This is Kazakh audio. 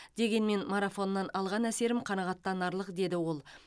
дегенмен марафоннан алған әсерім қанағаттанарлық деді ол